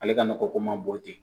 Ale ka nɔgɔ ko man bon ten